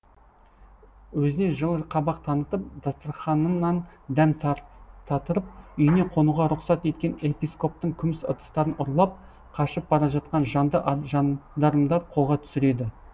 өзіне жылы қабақ танытып дастарханынан дәм татырып үйіне қонуға рұқсат еткен епископтың күміс ыдыстарын ұрлап қашып бара жатқан жанды жандармдар қолға түсіреді